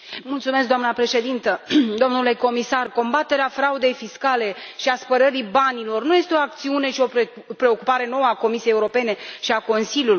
Doamnă președintă, domnule comisar, combaterea fraudei fiscale și a spălării banilor nu este o acțiune și o preocupare nouă a Comisiei Europene și a Consiliului.